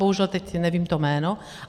Bohužel teď nevím to jméno.